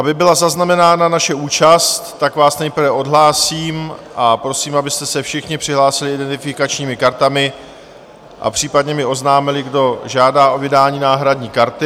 Aby byla zaznamenána naše účast, tak vás nejprve odhlásím a prosím, abyste se všichni přihlásili identifikačními kartami a případně mi oznámili, kdo žádá o vydání náhradní karty.